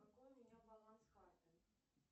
какой у меня баланс карты